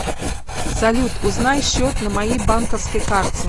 салют узнай счет на моей банковской карте